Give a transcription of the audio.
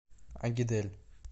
агидель